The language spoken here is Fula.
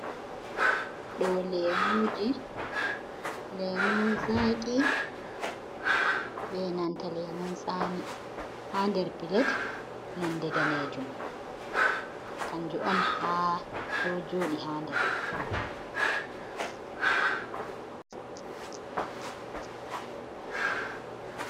Ɗo lemuje, lemun zaqi be nanta lemun tsami, ha nder Pilet nonde danejum. Kanju'on ha ɗo joɗi ha nder.